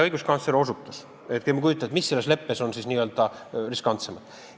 Õiguskantsler osutas kahele asjale, mis selles leppes on n-ö riskantsemad.